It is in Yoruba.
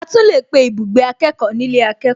A tún lè pé ibùgbé akẹ́kọ̀ọ́ nílé akẹ́kọ̀ọ́